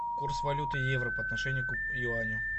курс валюты евро по отношению к юаню